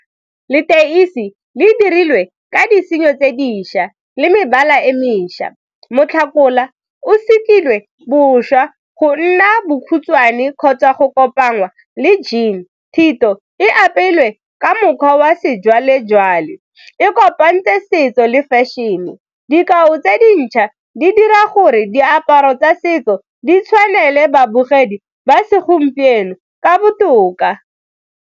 Leteisi le e dirilwe ka disenyo tse dišwa le mebala e mešwa, o segilwe boswa go nna bokhutshwane kgotsa go kopangwa le jean, thito e apeilwe ka mokgwa wa sejwalejwale e kopantse setso le fashion-e, dikao tse dintšha di dira gore diaparo tsa setso di tshwanele babogedi ba segompieno ka botoka.